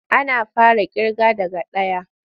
Ana fara ƙirga daga ɗaya.